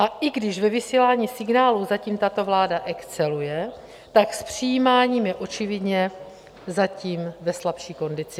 A i když ve vysílání signálů zatím tato vláda exceluje, tak s přijímáním je očividně zatím ve slabší kondici.